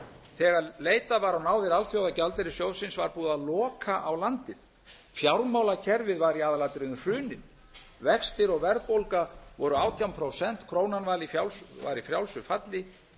þegar leitað var á náðir alþjóðagjaldeyrissjóðsins var búið að loka á landið fjármálakerfið var í aðalatriðum hrunið vextir og verðbólga voru átján prósent krónan var í frjálsu falli